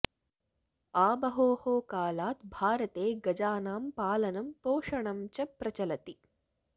आबहोः कालात् भारते गजानां पालनं पोषणं च प्रचलति